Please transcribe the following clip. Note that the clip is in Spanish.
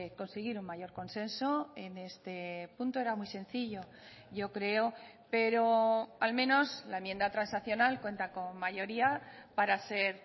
conseguir un mayor consenso en este punto era muy sencillo yo creo pero al menos la enmienda transaccional cuenta con mayoría para ser